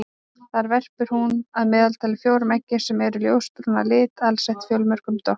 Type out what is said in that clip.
Þar verpir hún að meðaltali fjórum eggjum sem eru ljósbrún að lit alsett fjölmörgum doppum.